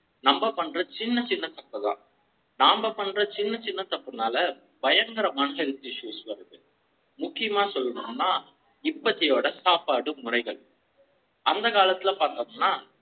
நம்ம பண்ற சின்ன சின்ன தப்புனால நாம பண்ற சின்ன சின்ன தப்புனால பயங்கர மனுஷங்களுக்கு issue வருது முக்கிய மா சொல்ல ணும்னா இப்ப சாப்பாடு முறைகள் அந்த காலத்துல பாத்திங்கன்னா.